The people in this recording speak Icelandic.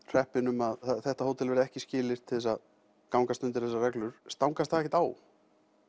hreppinn um að þetta hótel verði ekki skilyrt til að gangast undir þessar reglur stangast það ekkert á